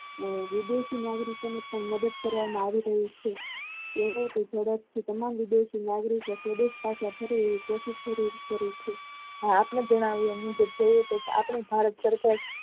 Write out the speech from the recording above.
વિદેશી નાગરિકો ની મદદ કરવામાં આવી રહી છે કે જેવો ઝડપ થી તમામ નાગરિકો student પાછા ફરે એવી કોશિશ કરી રહિયા છેઆપણી ભારત સરકાર